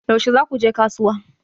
Yaushe za ku je kasuwa?